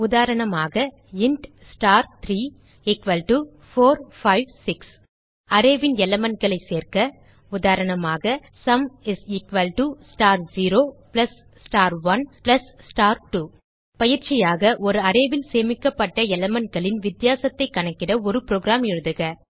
உதாரணமாக int star34 5 6 arrayன் elementகளை சேர்க்க உதாரணமாக sum is equal to star 0 plus star 1 plus star 2 பயிற்சியாக ஒரு அரே ல் சேமிக்கப்பட்ட elementகளின் வித்தியாசத்தைக் கணக்கிட ஒரு புரோகிராம் எழுதுக